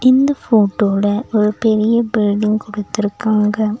இந்த போட்டோல ஒரு பெரிய பில்டிங் குடுத்துருக்காங்க.